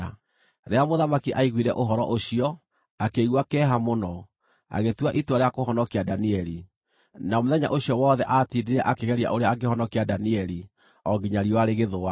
Rĩrĩa mũthamaki aaiguire ũhoro ũcio, akĩigua kĩeha mũno; agĩtua itua rĩa kũhonokia Danieli, na mũthenya ũcio wothe aatindire akĩgeria ũrĩa angĩhonokia Danieli o nginya riũa rĩgĩthũa.